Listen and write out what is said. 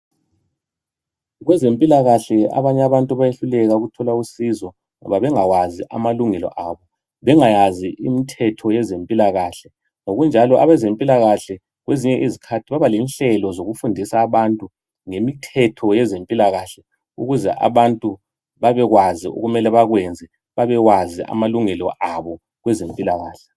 Kwezempilakahle abanye abantu bayehluleka ukuthola usizo, ngoba bengawazi amalungelo abo, bengayazi imithetho yezempilakahle. Ngokunjalo abezempilakahle kwezinye izikhathi baba lenhlelo zokufundisa abantu ngemithetho yezempilakahle ukuze abantu babekwazi okumele bakwenze, babewazi amalungelo abo kwezempilakahle.